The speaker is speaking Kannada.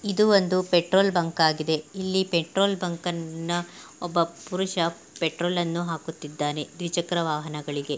ಇದು ಒಂದು ಪೆಟ್ರೋಲ್ ಬಂಕ್ ಆಗಿದೆ ಇಲ್ಲಿ ಪೆಟ್ರೋಲ್ ಬಂಕ್ ನ ಒಬ್ಬ ಪುರುಷ ಪೆಟ್ರೋಲ್ ಅನ್ನು ಹಾಕುತ್ತಿದ್ದಾನೆ ದ್ವಿಚಕ್ರ ವಾಹನಗಳಿಗೆ.